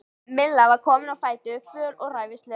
Milla var komin á fætur, föl og ræfilsleg.